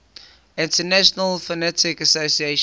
international phonetic association